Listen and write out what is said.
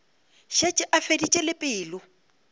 šetše a feditše le pelo